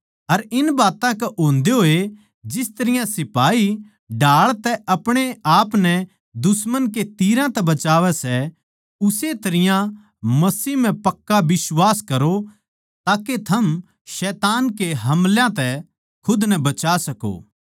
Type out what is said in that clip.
अर इन बात्तां के होंदे होए जिस तरियां सिपाही ढाल तै आपणेआपनै दुश्मन के तीरां तै बचावै सै उस्से तरियां मसीह म्ह पक्का बिश्वास करो ताके थम शैतान के हमलां तै खुद नै बचा सको